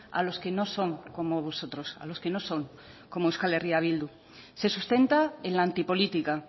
a los que no son como vosotros a los que no son como euskal herria bildu se sustenta en la antipolítica